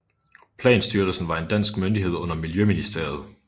Planstyrelsen var en dansk myndighed under Miljøministeriet